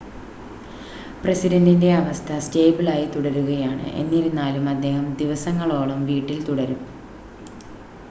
പ്രസിഡൻ്റിൻ്റെ അവസ്ഥ സ്റ്റേബിളായി തുടരുകയാണ് എന്നിരുന്നാലും അദ്ദേഹം ദിവസങ്ങളോളം വീട്ടിൽ തുടരും